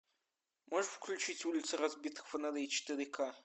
можешь включить улица разбитых фонарей четыре ка